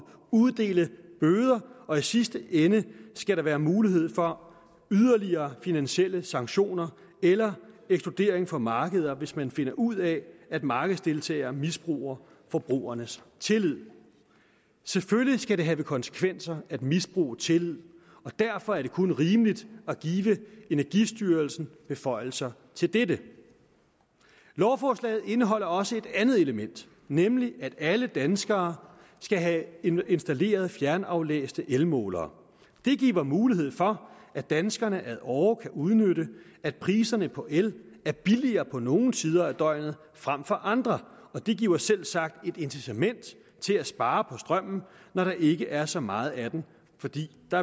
uddele bøder og i sidste ende skal der være mulighed for yderligere finansielle sanktioner eller ekskludering fra markeder hvis man finder ud af at markedsdeltagere misbruger forbrugernes tillid selvfølgelig skal det have konsekvenser at misbruge tillid derfor er det kun rimeligt at give energistyrelsen beføjelser til dette lovforslaget indeholder også et andet element nemlig at alle danskere skal have installeret fjernaflæste elmålere det giver mulighed for at danskerne ad åre kan udnytte at priserne på el er billigere på nogle tider af døgnet frem for andre og det giver selvsagt et incitament til at spare på strømmen når der ikke er så meget af den fordi der